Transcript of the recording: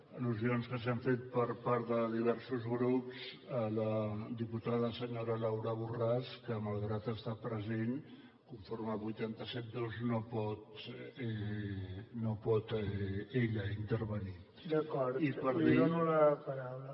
al·lusions que s’han fet per part de diversos grups a la diputada senyora laura borràs que malgrat estar present conforme el vuit cents i setanta dos no pot ella intervenir i per dir que